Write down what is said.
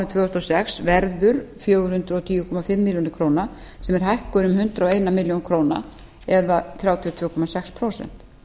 tvö þúsund og sex verður fjögur hundruð og tíu komma fimm milljónir króna sem er hækkun um hundrað og eina milljón króna eða þrjátíu og tvö komma sex prósent